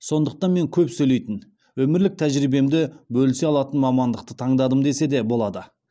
сондықтан мен көп сөйлейтін өмірлік тәжірибемді бөлісе алатын мамандықты таңдадым десе де болады